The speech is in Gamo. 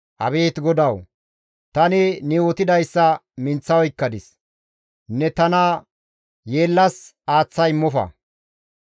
Abeet GODAWU! Tani ne yootidayssa minththa oykkadis; ne tana yeellas aaththa immofa.